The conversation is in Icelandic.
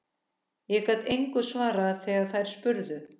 Ég gat engu svarað þegar þær spurðu.